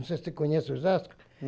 Não sei se você conhece Osasco.